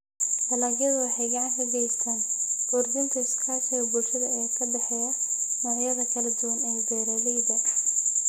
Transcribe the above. Dalagyadu waxay gacan ka geystaan ??kordhinta iskaashiga bulshada ee ka dhexeeya noocyada kala duwan ee beeralayda.